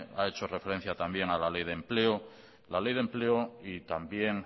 ha hecho referencia también a la ley de empleo y también